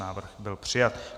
Návrh byl přijat.